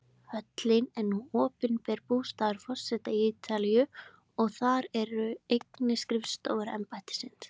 Höllin er nú opinber bústaður forseta Ítalíu og þar eru einnig skrifstofur embættisins.